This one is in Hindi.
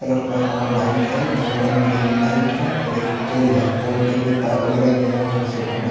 कलर का वो लाइट है जो रंग बिरंगी लाइट है और एक पोल है पोल पे जो तार वगैरा गया है उस पे सेटअप ल --